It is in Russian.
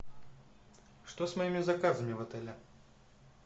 что с моими заказами в отеле